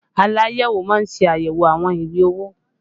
Aláyẹ̀wò má ń ṣe ayẹwo àwọn ìwé owó